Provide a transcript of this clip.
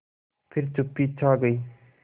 फिर चुप्पी छा गई